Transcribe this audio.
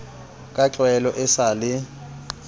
ka tlwaelo e sa le